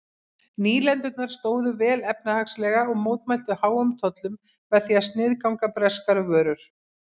Nýlendurnar stóðu vel efnahagslega og mótmæltu háum tollum með því að sniðganga breskar vörur.